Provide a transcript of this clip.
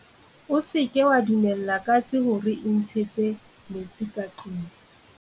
O se ke wa dumella katse hore e ntshetse metsi ka tlung.